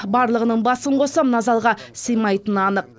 барлығының басын қосса мына залға симайтыны анық